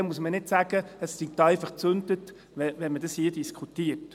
Dann muss man nicht sagen, es sei da einfach «gezüntet», wenn man dies hier diskutiert.